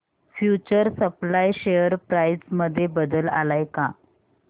future supply share price मध्ये बदल आलाय का